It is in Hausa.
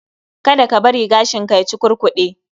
Kada ka bari gashinka ya cukurkude